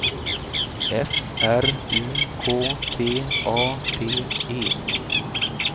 F R U K T A D E